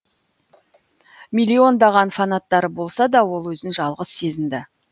миллиондаған фанаттары болса да ол өзін жалғыз сезінді